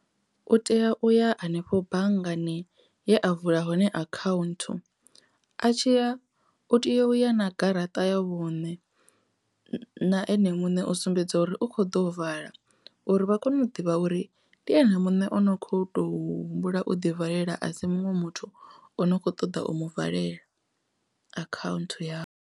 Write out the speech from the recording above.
U tea uya hanefho banngani ye a vula hone account a tshiya u tea u ya na garaṱa ya vhune na ene muṋe u sumbedza dza uri u kho ḓo vala uri vha kone u ḓivha uri ndi ene muṋe ono kho to humbula u ḓi valela a si muṅwe muthu o no kho ṱoḓa u mu valela akhaunthu yawe.